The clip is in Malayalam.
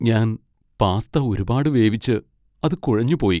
ഞാൻ പാസ്ത ഒരുപാട് വേവിച്ച് അത് കുഴഞ്ഞു പോയി.